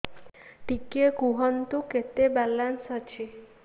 ଟିକେ କୁହନ୍ତୁ କେତେ ବାଲାନ୍ସ ଅଛି